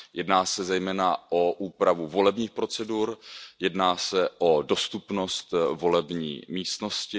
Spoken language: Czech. Jedná se zejména o úpravu volebních procedur, jedná se o dostupnost volební místnosti.